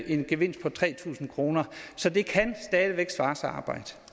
en gevinst på tre tusind kroner så det kan stadig væk svare sig